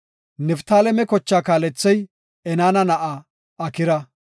Niftaaleme kochaa kaalethey Enaana na7aa Akira.